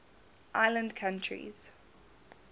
island countries